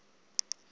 lenkolo